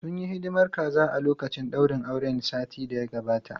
Sun yi hidimar kaza a lokacin daurin auren satin da ya gabata.